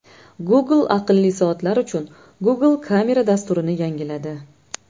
Google aqlli soatlar uchun Google Camera dasturini yangiladi .